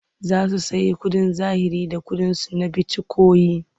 Za su sayi kuɗin zahiri da ƙuɗinsu na bitikoyin.